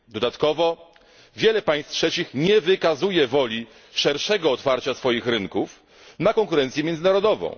Dodatkowo wiele państw trzecich nie wykazuje woli szerszego otwarcia swoich rynków na konkurencję międzynarodową.